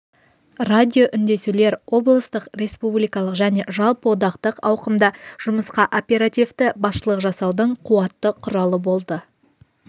радиоүндесулер облыстық республикалық және жалпыодақтық ауқымда жұмысқа оперативті басшылық жасаудың қуатты құралы болды